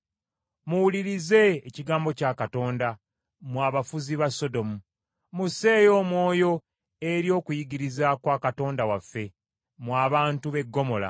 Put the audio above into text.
Muwulirize ekigambo kya Katonda mmwe abafuzi ba Sodomu! Musseeyo omwoyo eri okuyigiriza kwa Katonda waffe mmwe abantu b’e Ggomola!